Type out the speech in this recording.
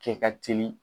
Kɛ ka teli